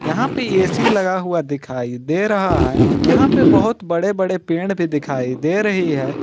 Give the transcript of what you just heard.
यहां पे ये ए_सी लगा हुआ दिखाई दे रहा है यहां पे बहोत बड़े बड़े पेड़ भी दिखाई दे रही है।